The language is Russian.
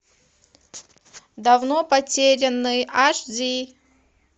давно потерянный аш ди